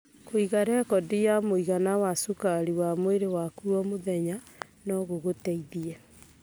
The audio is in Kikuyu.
Kũiga rekondi ya mũigana wa cukari wa mwĩrĩ waku o mũthenya no gũgũteithie.